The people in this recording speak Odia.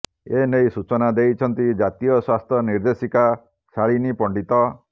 ଏନେଇ ସୂଚନା ଦେଇଛନ୍ତି ଜାତୀୟ ସ୍ୱାସ୍ଥ୍ୟ ନିର୍ଦ୍ଦେଶିକା ଶାଳିନୀ ପଣ୍ଡିତ